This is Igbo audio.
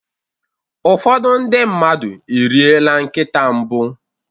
ụfọdụ ndị mmadụ eriela nkịta mbụ